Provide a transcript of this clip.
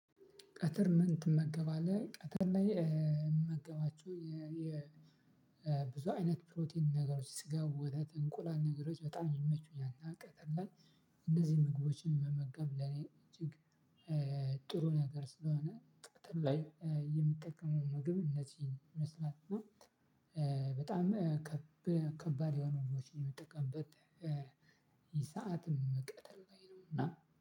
ቀትር ምን ትመገባለህ ቀትር ላይ? ምመገባቸው የ ብዙ አይነት ፕሮቲን ነገሮች ስጋ ወተት እንቁላል ነገሮች በጣም ይመቹኛል። እና ቀትር ላይ። እነዚህ ምግቦችን መመገብ ለኔ እጅግ ጥሩ ነገር ስለሆነ ቀትር ላይ የምጠቀመውን ምግብ እነዚህ ይመስላል። በጣም ከብ ከባድ የሆኑ ምግቦችን ምጠቀምበት። የ ሰዓት ነው ቀትር ላይ ነው እና